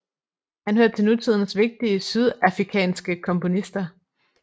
Han hører til nutidens vigtige sydafikanske komponister